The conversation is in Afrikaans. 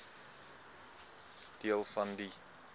deel van die